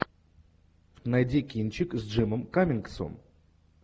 найди кинчик с джимом каммингсом